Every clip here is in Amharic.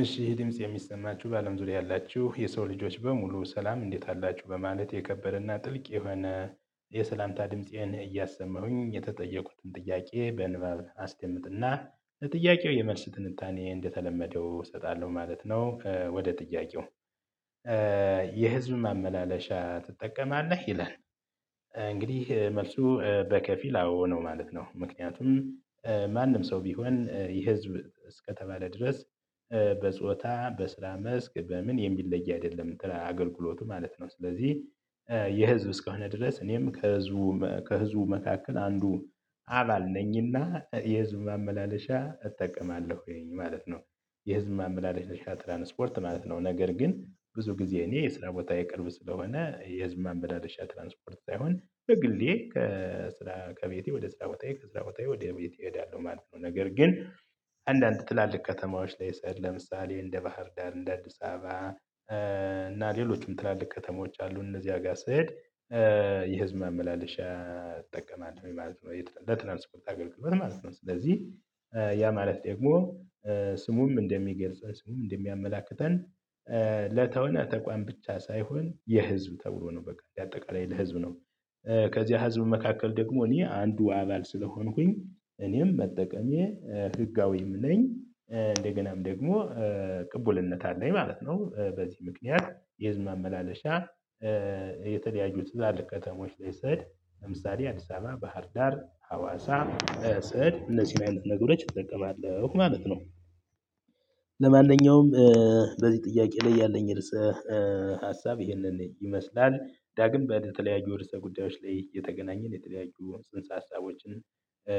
እሺ ድምጽ የሚሰማችሁ በአለም ዙሪያ ያላችሁ የሰው ልጆች በሙሉ ሰላም እንዴት አላችሁ በማለት የከበረና ጥልቅ የሆነ የሰላምታ ድምፄን እያሰማሁኝ የተጠየኩትን ጥያቄ በንባብ አስደምጥና ለጥያቄው የመልስ ትንታኔ እንደተለመደው እሰጣለሁ ማለት ነው። ወደ ጥያቄው የህዝብ ማመላለሻ ትጠቀማለህ ይላል? እንግዲህ መልሱ በከፊል አዎ ነው ማለት ነው። ምክንያቱም ማንም ሰው ቢሆን የህዝብ እስከተባለ ድረስ በጾታ በስራ መስክ በምን የሚለይ አይደለም እንትን አገልግሎቱ ማለት ነው። ስለዚህ የህዝብ እስከሆነ ድረስ እኔም ከህዝቡ መካከል አንዱ አባል ነኝና የህዝብ ማመላለሻ እጠቀማለሁኝ ማለት ነው። የህዝብ ማመላለሻ ትራንስፖርት ማለት ነው ነገር ግን ብዙ ጊዜ የስራ ቦታዬ ቅርብ ስለሆነ የህዝብ ማመላለሻ ትራንስፖርት ሳይሆን በግሌ ከስራ ከቤቴ ወደ ስራ ቦታዬ ወደ ቤቴ እሄዳለሁ ማለት ነው። ነገር ግን አንዳንድ ትላልቅ ከተማዎች ላይ ስሄድ ለምሳሌ እንደ ባህር ዳር እንደ አዲስ አበባ እና ሌሎችም ትላልቅ ከተሞች አሉ እነዚህ ጋር ስሄድ የህዝብ ማመላለሻ እጠቀማለሁ ማለት ነው። ለትራንስፖርት አገልግሎት ማለት ነው ስለዚህ ያ ማለት ደግሞ ስሙም እንደሚገልጸን ስሙም እንደሚያመላክተን ለሆነ ተቋም ብቻ ሳይሆን የህዝብ ተብሎ ነው በቃ የአጠቃላይ ለህዝብ ነው። ከዚህ ህዝብ መካከል ደግሞ እኔ አንዱ አባል ስለሆንኩኝ እኔም መጠቀሜ ህጋዊም ነኝ እንደገናም ደግሞ ቅቡልነት አለኝ ማለት ነው። በዚህ ምክንያት የህዝብ ማመላለሻ የተለያዩ ትላልቅ ከተሞች ላይ ስሄድ ለምሳሌ አዲስ አበባ ባህር ዳር ሀዋሳ ስሄድ እነዚህን ነገሮች እጠቀማለሁ ማለት ነው። ለማንኛውም በዚህ ጥያቄ ላይ ያለኝ ርዕስ ሀሳብ ይህንን ይመስላል ዳግም በተለያዩ ርዕሰ ጉዳዮች ላይ እየተገናኘን የተለያዩ ጽንሰ ሀሳቦችን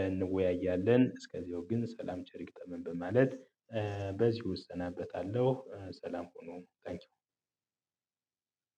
እንወያያለን። እስከዚያው ግን ሰላም ቸር ይግጠመን በማለት በዚሁ እሰናበታለሁ። ሰላም ሁኑ። ቴንኪው